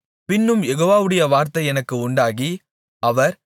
பின்னும் யெகோவாவுடைய வார்த்தை எனக்கு உண்டாகி அவர்